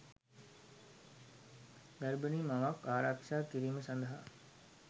ගර්භනී මවක් ආරක්ෂා කිරීම සඳහා